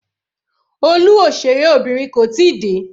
Olú òṣèré Obìnrin kò tíì dé.